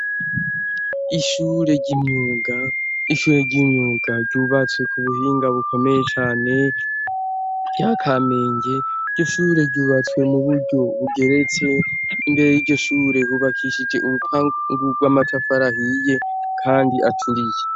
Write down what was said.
Ishure ry'imyunga ishure ry'imyuga ryubatse ku buhinga bukomeye cane rya kamenge gishure ryubatswe mu buryo bugeretse imbere y'igishure hubakishije urupangurw'amatafarahiye, kandi aturiye.